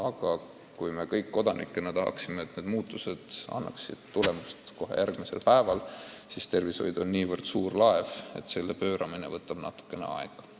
Muidugi me kodanikena tahaksime kõik, et muudatused annaksid tulemusi kohe järgmisel päeval, aga tervishoid on nii suur laev, et selle pööramine võtab aega.